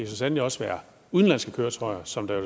så sandelig også være udenlandske køretøjer som der